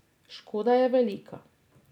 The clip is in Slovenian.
Škoda je velika.